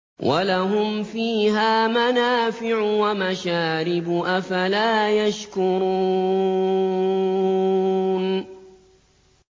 وَلَهُمْ فِيهَا مَنَافِعُ وَمَشَارِبُ ۖ أَفَلَا يَشْكُرُونَ